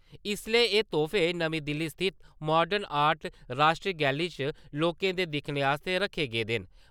इस्सलै एह तोहफे नमीं दिल्ली स्थित मोडन आर्टस राश्ट्री गैलरी च लोकें दे दिक्खने आस्तै रक्खे गेदे न।